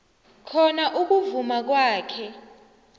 khona ukuvuma kwakhe